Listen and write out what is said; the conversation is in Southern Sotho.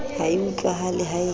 ha e utlwahale ha e